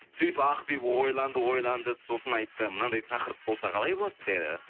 сөйтіп ақбибі ойланды ойланды сосын айтты мынандай тақырып болса қалай болады деді